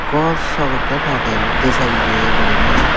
gor saw ekkan agey di salley guriney.